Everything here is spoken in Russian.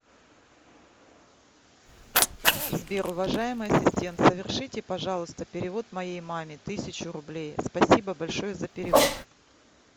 сбер уважаемый ассистент совершите пожалуйста перевод моей маме тысячу рублей спасибо большое за перевод